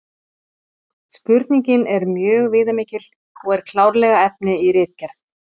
Spurningin er mjög viðamikil og er klárlega efni í ritgerð.